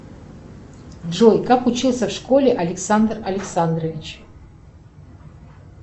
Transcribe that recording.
джой как учился в школе александр александрович